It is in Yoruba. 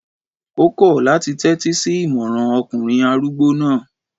Ó kọ̀ láti tẹ́tí sí ìmọràn ọkùnrin arúgbó náà